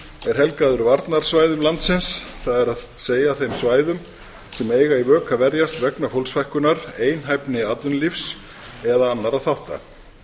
er helgaður varnarsvæðum landsins það er þeim svæðum sem eiga í vök að verjast vegna fólksfækkunar einhæfni atvinnulífs eða annarra þátta